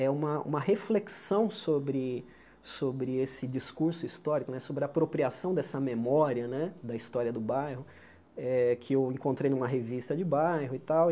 é uma uma reflexão sobre sobre esse discurso histórico né, sobre a apropriação dessa memória né da história do bairro, eh que eu encontrei numa revista de bairro e tal.